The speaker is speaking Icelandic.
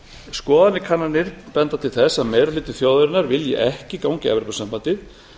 skoðanakannanir benda til þess að meiri hluti þjóðarinnar vilji ekki ganga í evrópusambandið